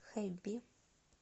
хэби